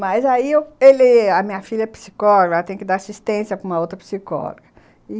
Mas aí, ele... a minha filha é psicóloga, ela tem que dar assistência para uma outra psicóloga, e...